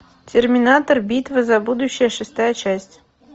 терминатор битва за будущее шестая часть